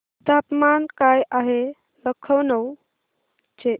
तापमान काय आहे लखनौ चे